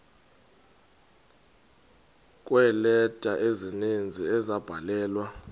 kweeleta ezininzi ezabhalelwa